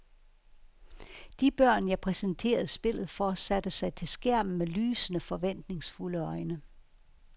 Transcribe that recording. De børn, jeg præsenterede spillet for, satte sig til skærmen med lysende, forventningsfulde øjne.